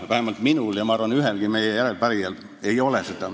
Vähemalt minul ei ole ja ma arvan, et ühelgi teisel järelepärijal seda ka ei ole.